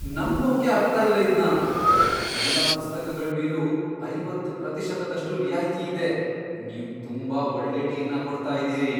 ನಂಬೋಕ್ಕೇ ಆಗ್ತಾ ಇಲ್ಲ ಇದ್ನ! ಎಲ್ಲಾ ಪುಸ್ತಕಗಳ್ ಮೇಲೂ ಐವತ್ತ್ ಪ್ರತಿಶತದಷ್ಟು ರಿಯಾಯ್ತಿ ಇದೆ. ನೀವ್ ತುಂಬಾ ಒಳ್ಳೆ ಡೀಲ್ನ ಕೊಡ್ತಾ ಇದೀರಿ.